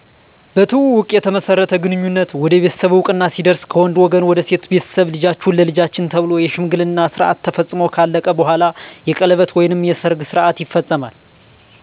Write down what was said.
በትውውቅ የተመሠረተ ግንኙነት ወደ ቤተሠብ እወቅና ሲደርስ ከወንድ ወገን ወደ ሴት ቤተሠብ ልጃቹህ ለልጃችን ተብሎ የሽምግልና ስረዓት ተፈፅሞ ከአለቀ በኋላ የቀለበት ወይም የሰርግ ስርዓት ይፈፀማል